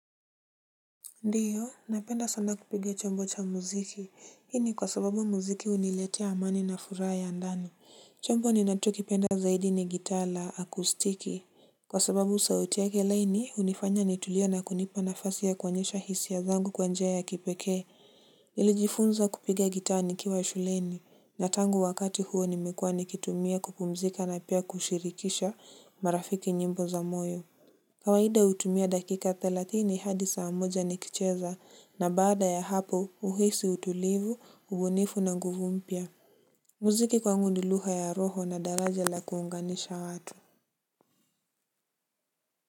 Ndiyo, napenda sana kupiga chombo cha muziki, hii ni kwa sababu muziki huniletea amani na furaha ya ndani, chombo ni nacho kipenda zaidi ni gitaa la akustiki. Kwa sababu sauti yake laini, hunifanya nitulie na kunipa nafasi ya kuonyesha hisia zangu kwanjia ya kipekee. Nilijifunza kupiga gitaa nikiwa shuleni, na tangu wakati huo nimekuwa nikitumia kupumzika na pia kushirikisha marafiki njimbo za moyo. Kawaida hutumia dakika thalatini hadi saa moja nikicheza na baada ya hapo uhisi utulivu, ubunifu na nguvu mpya. Muziki kwangu ni lugha ya roho na daraja la kuunganisha watu.